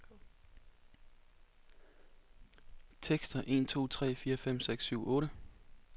Tester en to tre fire fem seks syv otte.